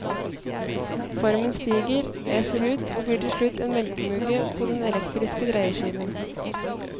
Formen stiger, eser ut og blir til slutt en melkemugge på den elektriske dreieskiven.